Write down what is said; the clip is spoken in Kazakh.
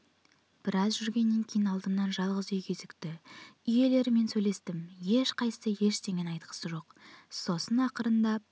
біраз жүргеннен кейін алдымнан жалғыз үй кезікті үй иелерімен сөйлестім ешқайсысы ештеңе айтқысы жоқ сосын ақырындап